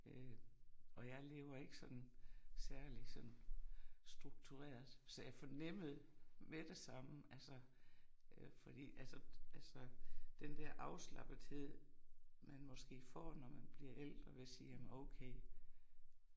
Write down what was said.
Øh og jeg lever ikke sådan særlig sådan struktureret, så jeg fornemmede med det samme altså øh fordi altså altså den der afslappethed man måske får når man bliver ældre ved at sige jamen okay